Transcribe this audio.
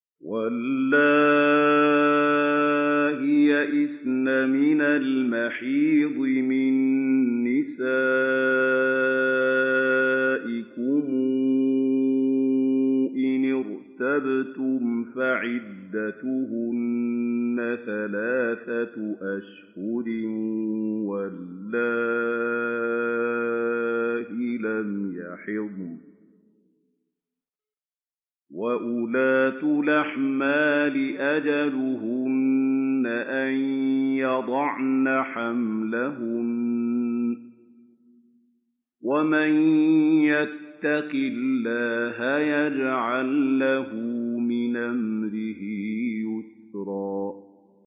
وَاللَّائِي يَئِسْنَ مِنَ الْمَحِيضِ مِن نِّسَائِكُمْ إِنِ ارْتَبْتُمْ فَعِدَّتُهُنَّ ثَلَاثَةُ أَشْهُرٍ وَاللَّائِي لَمْ يَحِضْنَ ۚ وَأُولَاتُ الْأَحْمَالِ أَجَلُهُنَّ أَن يَضَعْنَ حَمْلَهُنَّ ۚ وَمَن يَتَّقِ اللَّهَ يَجْعَل لَّهُ مِنْ أَمْرِهِ يُسْرًا